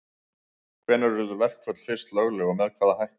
Hvenær urðu verkföll fyrst lögleg og með hvaða hætti?